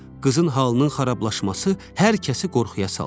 Qızın halının xarablaşması hər kəsi qorxuya saldı.